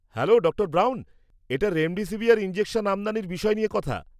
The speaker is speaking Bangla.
হ্যালো ডাঃ ব্রাউন, এটা রেমডেসিভিয়ার ইনজেকশন আমদানির বিষয় নিয়ে কথা।